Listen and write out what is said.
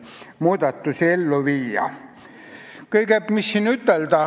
Mida siin ütelda?